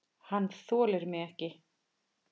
Hann þolir mig ekki.